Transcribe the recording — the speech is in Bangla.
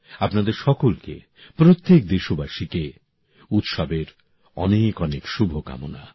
আপনাদের সকলকে প্রত্যেক দেশবাসীকে উৎসবের অনেক অনেক শুভকামনা